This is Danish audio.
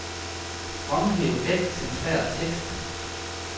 Fremhæv al centreret tekst.